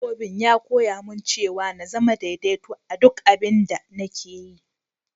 Tarihin dabbobi'n ya koya mun cewa n'zama daidaito a'duk abin da nake yi.